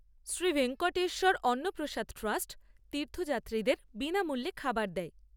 Shri Venkateswara Anna Prasad trust তীর্থযাত্রীদের বিনামূল্যে খাবার দেয়।